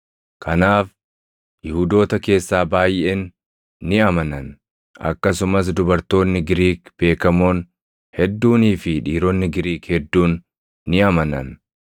Kanaaf Yihuudoota keessaa baayʼeen ni amanan; akkasumas dubartoonni Giriik beekamoon hedduunii fi dhiironni Giriik hedduun ni amanan.